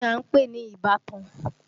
Kí ni à ń pè ní ìbátan?